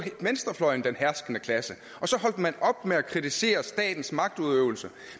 venstrefløjen den herskende klasse og så holdt man op med at kritisere statens magtudøvelse